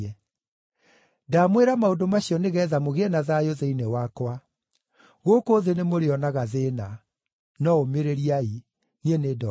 “Ndamwĩra maũndũ macio nĩgeetha mũgĩe na thayũ thĩinĩ wakwa. Gũkũ thĩ nĩmũrĩonaga thĩĩna. No ũmĩrĩriai! Niĩ nĩndooretie thĩ.”